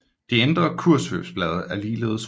De indre kurvsvøbblade er ligeledes røde